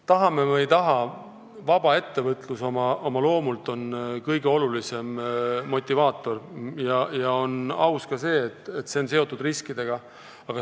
Tahame või ei taha, vaba ettevõtlus on oma loomult kõige olulisem motivaator, ja on aus, et see on ka riskidega seotud.